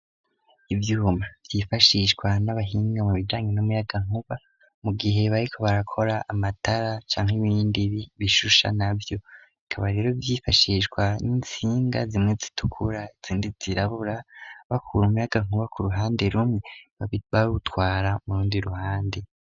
Ivyuma vyifashishwa n'abahinga mu bijanye n'umuyagankuba mu gihe bariko barakora amatara canke ibindi bishusha navyo ikaba rero vyifashishwa n'intsinga zimwe zitukura izindi zirabura bakura umuyagankuba ku ruhande rumwe bawutwara mu rundi ruhande.